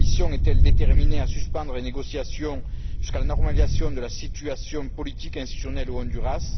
La Commission est elle déterminée à suspendre les négociations jusqu'à la normalisation de la situation politique institutionnelle au Honduras?